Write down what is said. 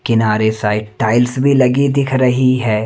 किनारे side tiles भी लगी दिख रही है।